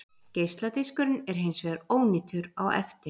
Geisladiskurinn er hins vegar ónýtur á eftir.